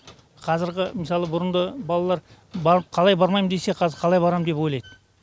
қазіргі мысалы бұрынғы балалар барып қалай бармайм десе қазір қалай барамын деп ойлайды